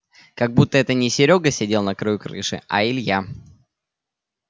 как будто это не серёга сидел на краю крыши а илья